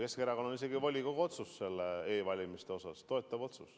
Keskerakonnal on isegi volikogu otsus e-valimiste toetamise kohta.